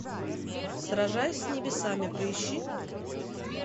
сражаясь с небесами поищи